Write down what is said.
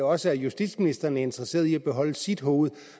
også at justitsministeren er interesseret i at beholde sit hoved